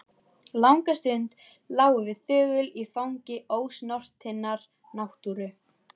Langa stund lágum við þögul í fangi ósnortinnar náttúru.